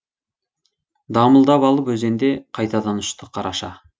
дамылдап алып өзенде қайтадан ұшты қараша